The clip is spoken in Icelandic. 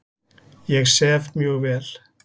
Ég sef mjög vel.